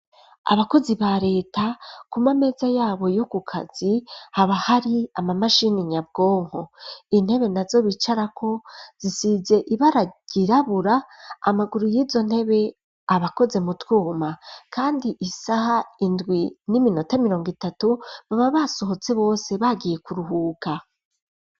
Abakozi ba reta kuma meza yabo yo ku kazi haba hari ama mashini nyabwonko intebe nazo bicarako zisize ibara ryirabura amaguru y'izo ntebe abakoze mu twuma kandi isaha indwi n'iminota mirongo itatu baba basohotse bose bagiye kuruhuka.